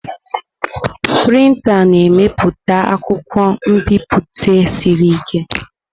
Printa na-emepụta akwụkwọ nbipute siri ike.